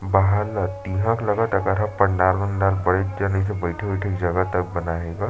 बाहर म पंडाल वंडाल बैठ के निचे बइठे वइठे के जगह तक बनाये हे गा--